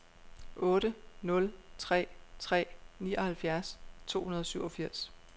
otte nul tre tre nioghalvfjerds to hundrede og syvogfirs